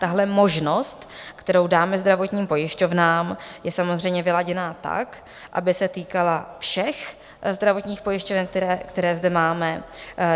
Tahle možnost, kterou dáme zdravotním pojišťovnám, je samozřejmě vyladěná tak, aby se týkala všech zdravotních pojišťoven, které zde máme.